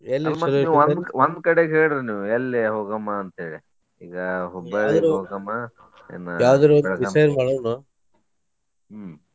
ಒಂದ್ ಒಂದ್ ಕಡೆಗ್ ಹೇಳ್ರಿ ನೀವ್ ಎಲ್ಲಿ ಹೋಗೊಮ ಅಂತ ಹೇಳಿ ಈಗ Hubballi ಗ ಹೋಗಮಾ ಏನ Belgaum ಹ್ಮ್.